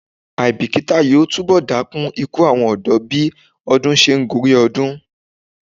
Àìbíkítà yóò túnbọ̀ dákún ikú àwọn ọ̀dọ́ bí ọdún se ń gorí ọdún.